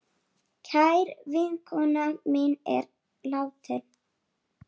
Kær vinkona mín er látin.